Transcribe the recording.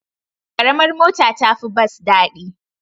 Ƙaramar mota ta fi bas daɗi.